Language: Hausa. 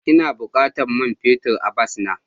Ina bukatan man fetur a bas na.